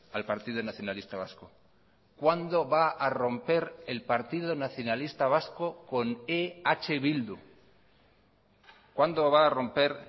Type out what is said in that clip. al partido nacionalista vasco cuándo va a romper el partido nacionalista vasco con eh bildu cuándo va a romper